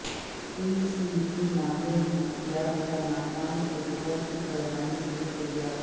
پی C B ماہر نفسیات کا ناکام تجربہ پھر دہرانے کیلیے تیار